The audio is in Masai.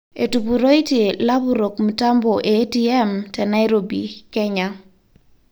Etupuroitie lapurok mtambo e ATM te Nairobi ,Kenya.